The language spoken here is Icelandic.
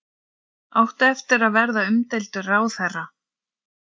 Áttu eftir að verða umdeildur ráðherra?